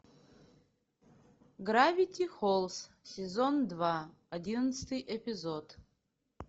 гравити фолз сезон два одиннадцатый эпизод